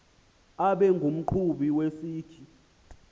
abe ngumqhubi wesikhi